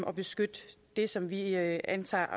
at beskytte det som vi anser